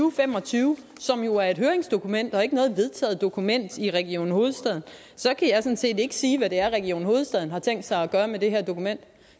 og fem og tyve som jo er et høringsdokument og ikke noget vedtaget dokument i region hovedstaden kan sådan set ikke sige hvad region hovedstaden har tænkt sig at gøre med det her dokument